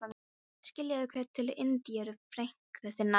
Skilaðu kveðju til Indíru, frænku þinnar